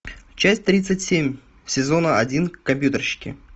часть тридцать семь сезона один компьютерщики